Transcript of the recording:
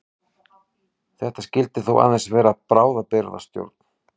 Þetta skyldi þó aðeins vera bráðabirgðastjórn.